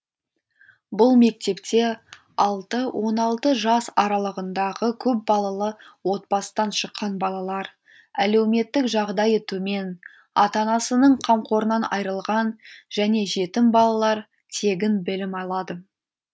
бұл мектепте алты он алты жас аралығындағы көп балалы отбасыдан шыққан балалар әлеуметтік жағдайы төмен ата анасының қамқорынан айырылған және жетім балалар тегін білім алады